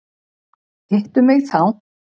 Hittu mig þá.